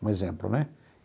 Um exemplo, né?